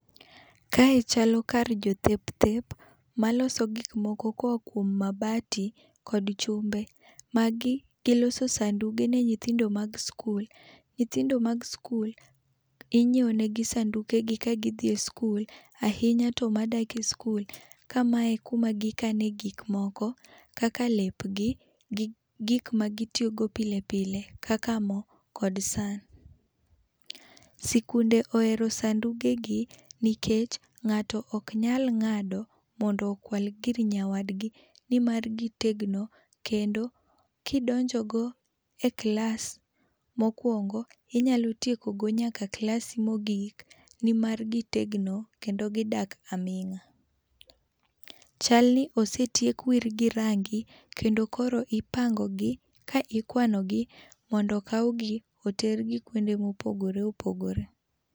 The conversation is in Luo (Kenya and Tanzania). Kae chalo kar jo thep thep maloso gik moko ka oa kuom mabati kod chumbe ma gi gi loso sanduge ne nyithindo mag skul .nyithindo mag skul ing'iewo ne gi sanduge gi ka gi dhie skul ahinya to ma dak e skul.ka ma e kuma gi kano gik moko kaka lep gi gi gik magi tiyo go pile pile kaka mo kod san. Sikunde ohero sanduge gi nikech ng'ato ok nyal ng'ado mondo okwal gir nyawad gi ni mar gi tegno kendo ki idonjo go e klas ma okwongo inyalo tieko go nyaka klas mo ogik ni mar gi tegno kendo gi dak aming'a. Chal ni osetiek wir gi rangi kendo koro ipango gi ka ikwano gi mondo okaw gi ki itero gi kuonde ma opogore opogore.